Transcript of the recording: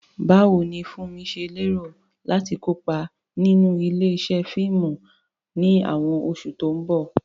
Báwo ni Funmi ṣe lérò láti kópa nínú ilé-iṣẹ́ fíìmù ní àwọn oṣù tó ń bọ̀?